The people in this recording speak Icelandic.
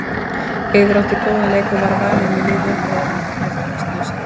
Eiður átti góðan leik og var valinn í lið umferðarinnar fyrir frammistöðu sína.